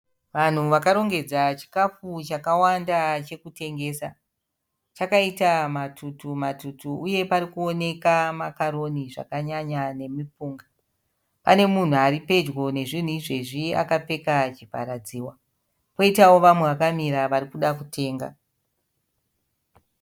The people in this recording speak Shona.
Vanhu vakarongedza chikafu chakawanda chekutengesa. Chakaita matutu matutu uye parikuwoneka makaroni zvakanyanya nemipunga. Pane munhu aripedyo nezvinhu izvezvi akapfeka chivharadzihwa. Poitawo vamwe vakamira varikuda kutenga.